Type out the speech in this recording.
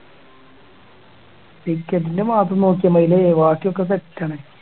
ticket ൻ്റെ മാത്രം നോക്കിയാ മതില്ലേ ബാക്കി ഒക്കെ set ആണ്